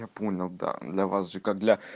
я понял да для вас же как для